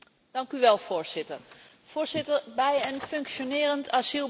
Bij een functionerend asielbeleid hoort een terugkeerbeleid.